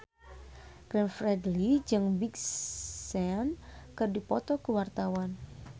Glenn Fredly jeung Big Sean keur dipoto ku wartawan